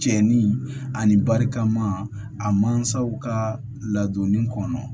Cɛ ni barikama a mansaw ka ladonni kɔnɔ